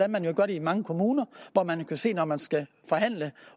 man jo gør det i mange kommuner og hvor vi kan se at når man skal forhandle